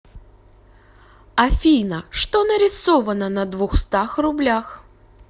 афина что нарисовано на двухстах рублях